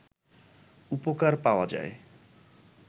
উপকার পাওয়া যায়